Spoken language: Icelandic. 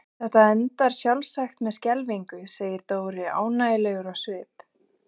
Þetta endar sjálfsagt með skelfingu segir Dóri ánægjulegur á svip.